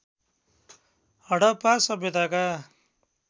Harappa सभ्यताका